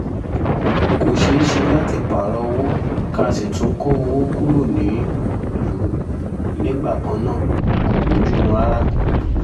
kò ṣeé ṣe láti pààrọ̀ owó ká sì tún kó owó kúrò nílùú nígbà kan náà kò bojumu rárá